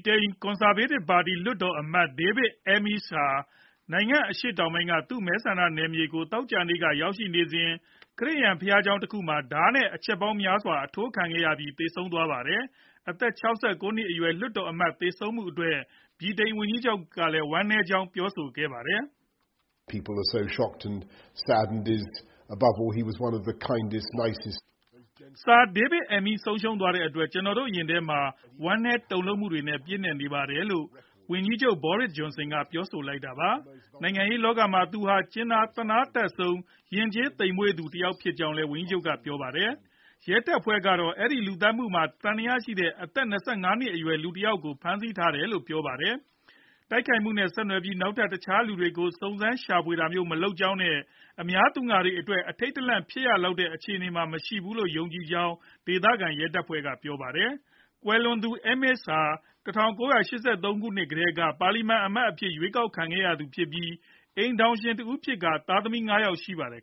တိန် ကွန်ဆာဗေးတစ်ပါတီ လွှတ်တော်အမတ် David Amess ဟာ နိုင်ငံအရှေ့ တောင်ပိုင်းက သူ့မဲဆန္ဒနယ်မြေဖြစ်ကို သောကြာနေ့က ရောက်နေစဉ် ခရစ်ယာန်ဘုရားကျောင်းတခုမှာ ဓါးနဲ့ အချက်ပေါင်းများစွာ အထိုးခံရပြီး သေဆုံးသွားပါတယ်။ အသက် ၆၉ နှစ်အရွယ် လွှတ်တော်အမတ် သေဆုံးမှုအတွက် ဗြိတိန်ဝန်ကြီးချုပ်ကလည်း ဝမ်းနည်းကြောင်း ပြောဆိုခဲ့တာပါ။ "Sir David Amess ကို ဆုံးရှုံးရတဲ့အတွက် ကျနော်တို့ ရင်ထဲမှာ ဝမ်းနည်းတုန်လှုပ်မှုတွေနဲ့ ပြည့်နှက်နေပါတယ်။" လို့ ဝန်ကြီးချုပ် Boris Johnson ပြောဆိုလိုက်တာပါ။ နိုင်ငံရေးလောကမှာ သူဟာ ကြင်နာသနားတတ်ဆုံး၊ ယဉ်ကျေးသိပ်မွေ့ဆုံးသူ တဦးဖြစ်ကြောင်းလည်း ဝန်ကြီးချုပ်က ပြောပါတယ်။ ရဲတပ်ဖွဲ့ကတော့ အဲဒီလူသတ်မူမှာ သံသယရှိတဲ့ အသက် ၂၅နှစ်အရွယ် လူငယ်တယောက်ကို ဖမ်းဆီးထားတယ်လို့ပြောပါတယ်။ တိုက်ခိုက်မှုနဲ့ ဆက်နွယ်ပြီး နောက်ထပ် တခြားလူတွေကို စုံစမ်းရှာဖွေ နေတာမျိုး မရှိကြောင်းနဲ့ အများပြည်သူအတွက် အထိတ်တလန့် ဖြစ်ရလောက်တဲ့ အခြေအနေမှာ မရှိဘူးလို့ ယုံကြည်ကြောင်းလည်း ဒေသခံရဲတပ်ဖွဲ့က ပြောပါတယ်။ ကွယ်လွန်သူ Amess ဟာ ၁၉ ၈၃ ခုနှစ်ကတည်းက ပါလီမန်အမတ်အဖြစ် ရွေးကောက်ခံခဲ့ရသူဖြစ်ပြီး အိမ်ထောင်ရှင်တဦးဖြစ်ကာ သားသမီး ၅ယောက်ရှိပါတယ်